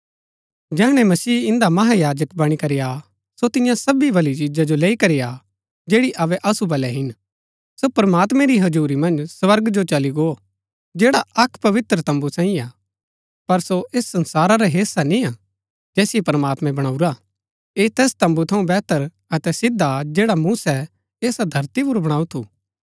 जैहणै मसीह इन्दा महायाजक बणी करी आ सो तिन्या सबी भली चिजा जो लैई करी आ जैड़ी अबै असु बलै हिन सो प्रमात्मैं री हजुरी मन्ज स्वर्ग जो चली गो जैड़ा अक्क पवित्र तम्बू सांईयै हा पर सो ऐस संसारा रा हेस्सा निय्आ जैसिओ प्रमात्मैं बणाऊरा ऐह तैस तम्बू थऊँ वेहतर अतै सिद्ध हा जैड़ा मूसै ऐसा धरती पुर बणाऊ थू